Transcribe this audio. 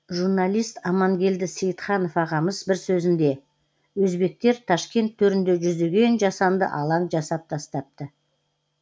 журналист амангелді сейітханов ағамыз бір сөзінде өзбектер ташкент төрінде жүздеген жасанды алаң жасап тастапты